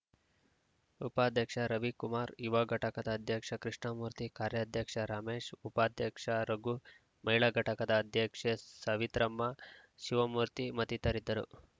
ಉಪಾಧ್ಯಕ್ಷ ರವಿಕುಮಾರ್‌ ಯುವ ಘಟಕದ ಅಧ್ಯಕ್ಷ ಕೃಷ್ಣಮೂರ್ತಿ ಕಾರ್ಯಾಧ್ಯಕ್ಷ ರಮೇಶ್‌ ಉಪಾಧ್ಯಕ್ಷ ರಘು ಮಹಿಳಾ ಘಟಕದ ಅಧ್ಯಕ್ಷೆ ಸವಿತ್ರಮ್ಮ ಶಿವಮೂರ್ತಿ ಮತ್ತಿತರರಿದ್ದರು